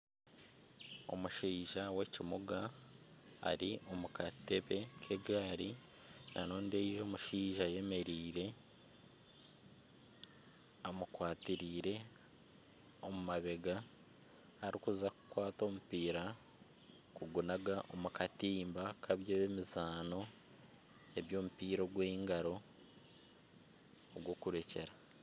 Omushaija w'ekimuga eri omu katebe k'egaari na ondiijo omushaija ayemereire amukwatareire omu mabega arikuza kukwata omupiira okugunaga omu katimba k'eby'emizaano eby’omupiira ogw'engaro ogw'okurekyera.